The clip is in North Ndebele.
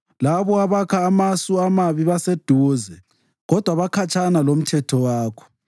Labo abakha amasu amabi baseduze, kodwa bakhatshana lomthetho wakho.